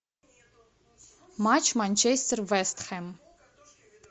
матч манчестер вест хэм